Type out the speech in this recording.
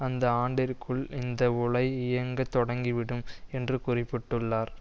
அந்த ஆண்டிற்குள் இந்த உலை இயங்கத் தொடங்கிவிடும் என்று குறிப்பிட்டுள்ளார்